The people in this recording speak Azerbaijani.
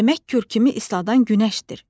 Demək kürkümü ısladan günəşdir.